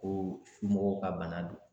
Ko mɔgɔw ka bana don